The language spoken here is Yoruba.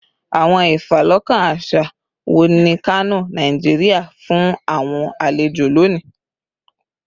Awọn ifalọkan aṣa wo ni Kano, Nigeria, fun awọn alejo loni?